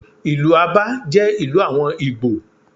Ìlú Abá jẹ́ ìlú àwọn Ìgbò.